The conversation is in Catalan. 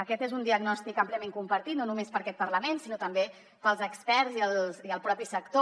aquest és un diagnòstic àmpliament compartit no només per aquest parlament sinó també pels experts i el propi sector